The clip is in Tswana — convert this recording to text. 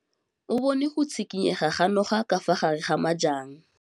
O bone go tshikinya ga noga ka fa gare ga majang.